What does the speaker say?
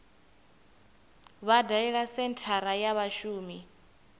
vha dalele senthara ya vhashumi